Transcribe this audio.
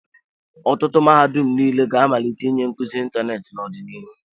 Ọtụtụ mahadum niile ga-amalite ịnye nkuzi ịntanetị n'ọdịnihu.